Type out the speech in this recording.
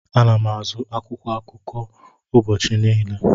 Ana m azụ akwụkwọ akụkọ ụbọchị niile.